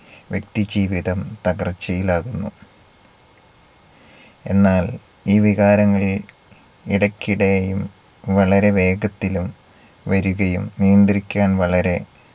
വ്യക്തിജീവിതം തകർച്ചയിലാകുന്നു. എന്നാൽ ഈ വികാരങ്ങൾ ഇടയ്ക്കിടെയും വളരെ വേഗത്തിലും വരുകയും നിയന്ത്രിക്കാൻ വളരെ